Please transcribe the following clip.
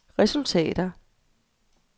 resultater